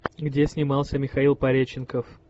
где снимался михаил пореченков